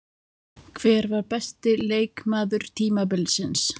Hver var besti leikmaður tímabilsins?